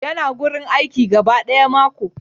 Yana wurin aiki gaba daya mako.